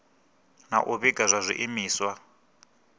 na u vhiga zwa zwiimiswa